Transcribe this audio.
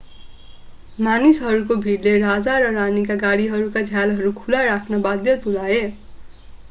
मानिसहरूको भिडले राजा र रानीका गाडीहरूका झ्यालहरू खुला राख्न बाध्य तुल्याए